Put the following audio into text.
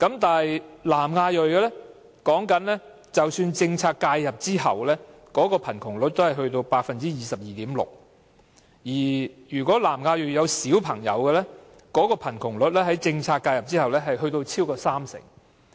就南亞裔家庭而言，即使在政策介入後，貧窮率也達 22.6%， 而有小朋友的南亞裔家庭的貧窮率更超過三成。